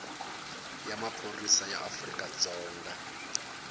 ya maphorisa ya afrika dzonga